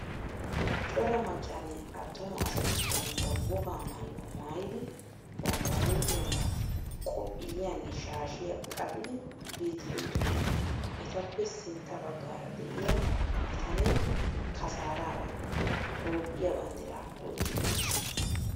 Cora maccanne attuma asati bantta wogaa maayuwa maayidi bantta huuphiyankka qophiyaanne shaashiyaa qacidi biiddi beettoosona. Etappe sintta baggaara de'iyaa bitanee kasaararag Toophphiyaa banddiraa oyqqidi bes.